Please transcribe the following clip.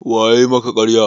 Wa yayi maka ƙarya?